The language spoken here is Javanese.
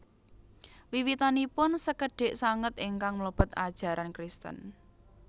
Wiwitanipun sekedhik sanget ingkang mlebet ajaran Kristen